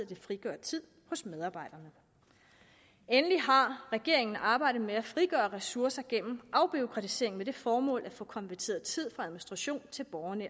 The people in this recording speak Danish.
de frigør tid hos medarbejderne endelig har regeringen arbejdet med at frigøre ressourcer gennem afbureaukratisering med det formål at få konverteret tid fra administration til borgernær